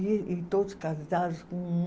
E e todos casados com.